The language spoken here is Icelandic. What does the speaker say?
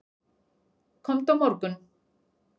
Komdu á morgun.